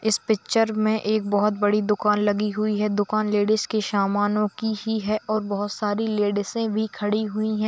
इस पीक्चर मे एक बहुत बड़ी दुकान लगी हुई है दुकान लेडीस के समानों की ही है और बहोत सारी लेडीसे भी खड़ी हुई है।